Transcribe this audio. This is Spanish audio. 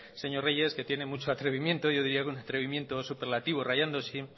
señor reyes que tiene mucho atrevimiento yo diría que un atrevimiento superlativo rayando